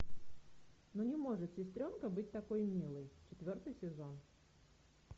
ну не может сестренка быть такой милой четвертый сезон